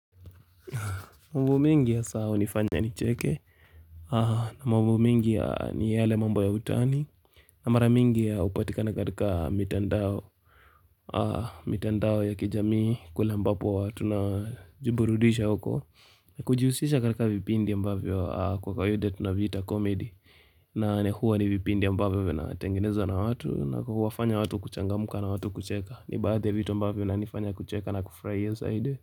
Mambo mengi hasa hunifanya nicheke na mambo mengi ya ni yale mambo ya utani na mara mingi ya hupatikana katika mitandao mitandao ya kijamii kule ambapo watu na jiburudisha huko na kujihusisha katika vipindi ya ambavyo kwa kawaida tunaviita komedi na ni huwa ni vipindi ambavyo vinatengenezwa na watu na kuwafanya watu kuchangamka na watu kucheka ni baadhi ya vitu ambavyo vinanifanya kucheka na kufurahia zaidi.